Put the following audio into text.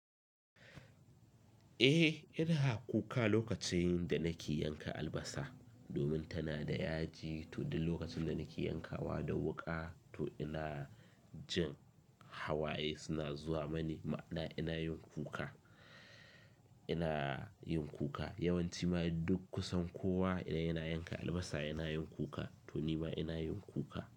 Eh ina kuka lokacin da nake yanka albasa domin tana da yaji to duk lokacin da nake yankawa da wuƙa to ina jin hawaye suna zuwa mani ma'ana ina yin kuka, ina yin kuka. Yawan ci ma ai duk kusan kowa idan yana yanka albasa yana yin kuka to nima ina yin kuka.